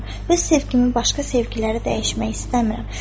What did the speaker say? Öz sevgimi başqa sevgilərə dəyişmək istəmirəm.